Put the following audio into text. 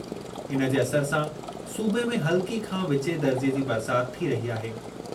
इन जे असरु सां सूबे में हल्की खां विचें दर्जे जी बरसाति थी रही आहे।